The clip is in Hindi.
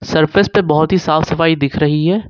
सरफेस पर बहुत ही साफ सफाई दिख रही है।